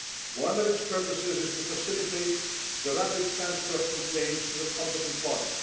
One of its purposes is to facilitate the rapid transfer of complaints to the competent body.